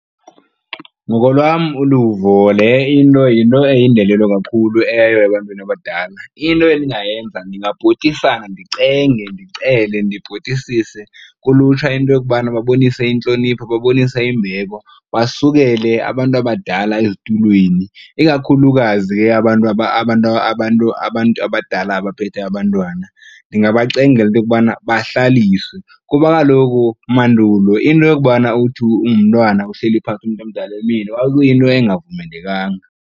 Ngokolwam uluvo, le into yinto eyindelelo kakhulu eyo ebantwini abadala. Into endingayenza ndingabhotisa ndicenge ndicele ndibhotisise kulutsha into yokubana babonise intlonipho, babonise imbeko basukele abantu abadala ezitulweni. Ikakhulukazi ke abantu abadala abaphethe abantwana, ndingabacengela into yokubana bahlaliswe kuba kaloku mandulo into yokubana uthi ungumntwana uhleli phantsi umntu omdala emile kwakuyinto engavumelekanga.